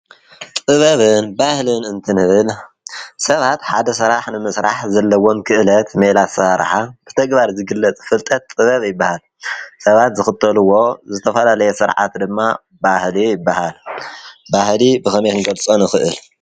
ጥበብን ባህልን እንትንህብል ሰባት ሓደ ሠራሕ ንምሥራሕ ዘለዎን ክእለት ሜላ ዝሠርሓ ብተግባር ዝግለጥ ፍልጠት ጥበብ ኣይበሃል ። ሰባት ዘኽተልዎ ዘተፈላለየ ሥርዓት ድማ ባህል ይበሃል ባሕሊ ብኸሜንጌጸ ንኽእል?